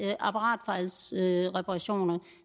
her apparatfejlsreparationer